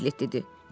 Piqlet dedi.